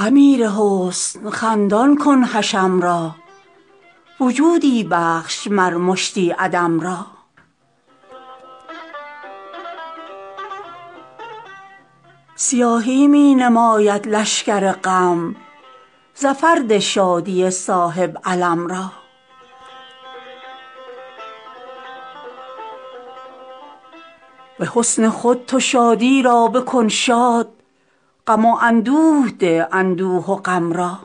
امیر حسن خندان کن حشم را وجودی بخش مر مشتی عدم را سیاهی می نماید لشکر غم ظفر ده شادی صاحب علم را به حسن خود تو شادی را بکن شاد غم و اندوه ده اندوه و غم را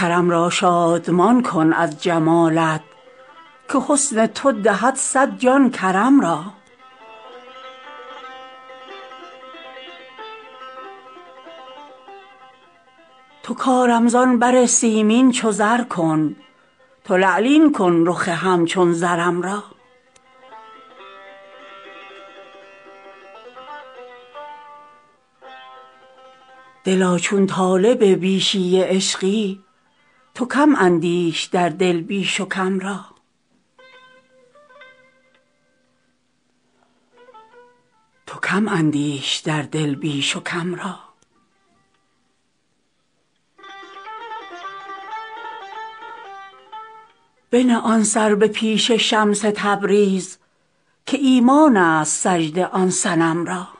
کرم را شادمان کن از جمالت که حسن تو دهد صد جان کرم را تو کارم زان بر سیمین چو زر کن تو لعلین کن رخ همچون زرم را دلا چون طالب بیشی عشقی تو کم اندیش در دل بیش و کم را بنه آن سر به پیش شمس تبریز که ایمان ست سجده آن صنم را